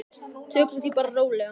Tökum því bara rólega.